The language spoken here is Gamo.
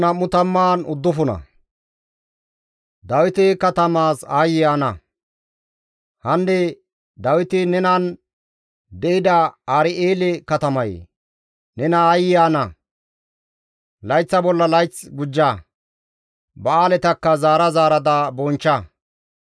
Hanne Dawiti nenan de7ida Ar7eele katamayee! Nena aayye ana! Layththa bolla layth gujja; ba7aaletakka zaara zaarada bonchcha.